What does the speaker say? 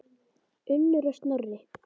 Unnur og Snorri.